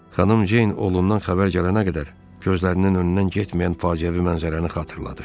Xanım Ceyn oğlundan xəbər gələnə qədər gözlərinin önündən getməyən faciəvi mənzərəni xatırladı.